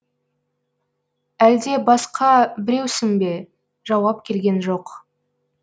әлде басқа біреусің бе жауап келген жоқ